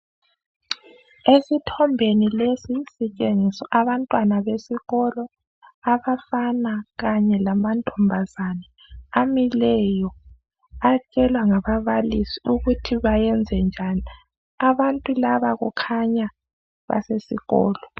Esithombeni lesi sitshengiswa abantwana besikolo, abafana kanye lamantombazana, amileyo atshelwa ngababalisi ukuthi bayenze njani. Abantu laba kukhanya basesikolo.